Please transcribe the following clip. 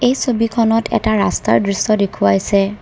এই ছবিখনত এটা ৰাস্তাৰ দৃশ্য দেখুৱাইছে।